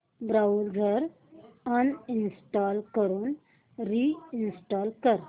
browser uninstall करून reinstall कर